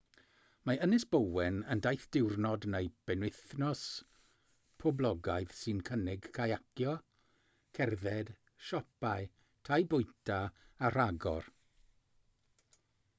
mae ynys bowen yn daith diwrnod neu benwythnos poblogaidd sy'n cynnig cayacio cerdded siopau tai bwyta a rhagor